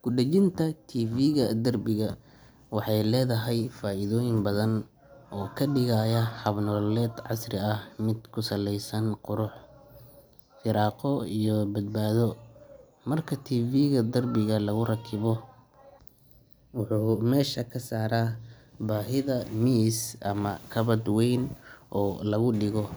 Kudajinta TV-ga derbiga waxay leedahay faa’iidooyin badan oo ka dhigaya hab nololeed casri ah mid ku saleysan qurux, firaaqo iyo badbaado. Marka TV-ga derbiga lagu rakibo, wuxuu meesha ka saaraa baahida miis ama kabadh weyn oo lagu dhigo,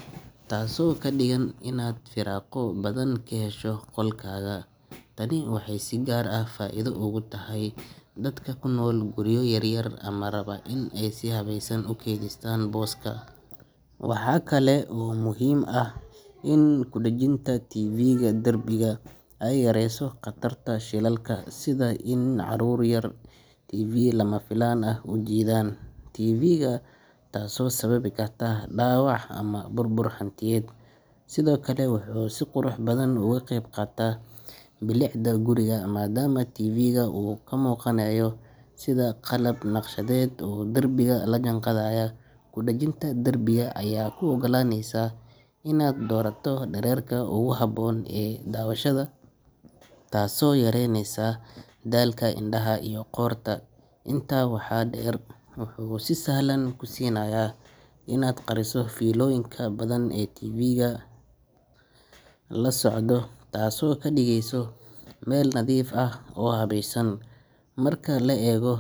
taasoo ka dhigan inaad firaaqo badan ka hesho qolkaaga. Tani waxay si gaar ah faa’iido ugu tahay dadka ku nool guryo yaryar ama raba in ay si habaysan u kaydiyaan booska. Waxaa kale oo muhiim ah in kudajinta TV-ga derbiga ay yareyso khatarta shilalka, sida in carruur yar ay si lama filaan ah u jiidaan TV-ga, taasoo sababi karta dhaawac ama burbur hantiyeed. Sidoo kale, wuxuu si qurux badan uga qeyb qaataa bilicda guriga, maadaama TV-ga uu ka muuqanayo sida qalab naqshadeed oo derbiga la jaanqaadaya. Kudajinta derbiga ayaa kuu ogolaaneysa inaad doorato dhererka ugu habboon ee daawashada, taasoo yareyneysa daalka indhaha iyo qoorta. Intaa waxaa dheer, wuxuu si sahlan kuu siinayaa inaad qariso fiilooyinka badan ee TV-ga la socda, taasoo ka dhigaysa meel nadiif ah oo habaysan. Marka la eego.